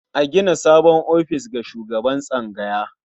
A gina sabon ofis ga shugaban tsangaya.